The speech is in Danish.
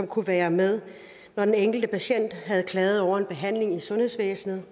kunne være med når den enkelte patient havde klaget over en behandling i sundhedsvæsenet